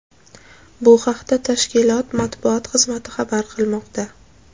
Bu haqda tashkilot matbuot xizmati xabar qilmoqda.